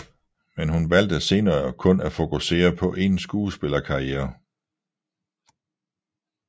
Men hun valgte senere kun at fokusere på en skuespillerkarriere